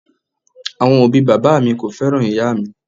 Awọn obi baba mi ko fẹran iya mi.